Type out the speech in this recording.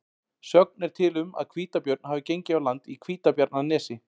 Sögn er til um að hvítabjörn hafi gengið á land í Hvítabjarnarnesi.